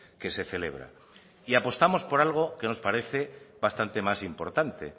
que se celebra y apostamos por algo que nos parece bastante más importante